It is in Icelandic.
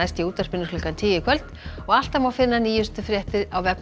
í útvarpinu klukkan tíu í kvöld og alltaf má finna nýjustu fréttir á vefnum